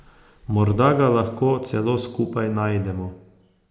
Morda ga lahko celo skupaj najdemo ...